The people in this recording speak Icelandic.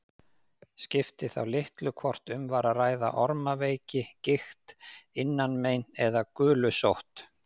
Skipti þá litlu hvort um var að ræða ormaveiki, gigt, innanmein eða gulusótt.